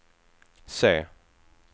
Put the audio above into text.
se